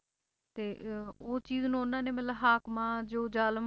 ਤੇ ਅਹ ਉਹ ਚੀਜ਼ ਨੂੰ ਉਹਨਾਂ ਨੈ ਮਤਲਬ ਹਾਕਮਾਂ ਜੋ ਜ਼ਾਲਮ